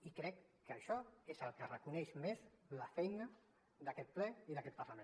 i crec que això és el que reconeix més la feina d’aquest ple i d’aquest parlament